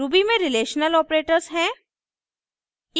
ruby में relation operators हैं